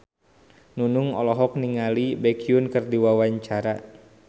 Nunung olohok ningali Baekhyun keur diwawancara